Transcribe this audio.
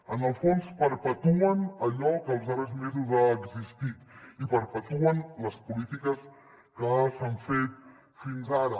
en el fons perpetuen allò que els darrers mesos ha existit i perpetuen les polítiques que s’han fet fins ara